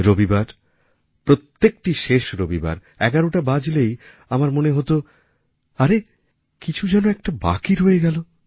রবিবার প্রত্যেকটি শেষ রবিবার ১১ টা বাজলেই আমার মনে হত আরে কিছু যেন বাকি রয়ে গেল